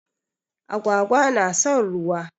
Agwaga na son ruwa.